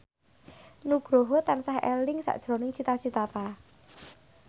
Nugroho tansah eling sakjroning Cita Citata